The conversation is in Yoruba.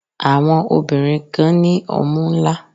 Àwọn obìnrin kan ní ọmú ńlá.